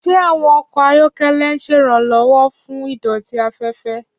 Ṣé àwọn ọkọ̀ ayọ́kẹ́lẹ́ ń ṣe ìrànlọ́wọ́ fún ìdọ̀tí afẹ́fẹ́?